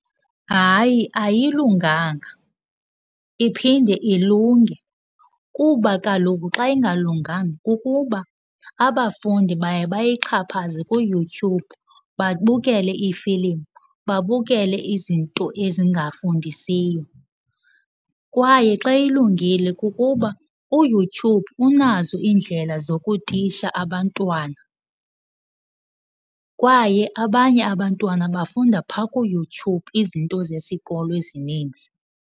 Hayi ayilunganga, iphinde ilunge. Kuba kaloku xa ingalunganga kukuba abafundi baye bayixhaphaze kuYouTube, babukele iifilimu, babukele izinto ezingafundisiyo. Kwaye xa ilungile kukuba uYouTube unazo iindlela zokutitsha abantwana kwaye abanye abantwana bafunda phaa kuYouTube izinto zesikolo ezininzi.